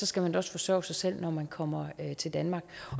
skal man da også forsørge sig selv når man kommer til danmark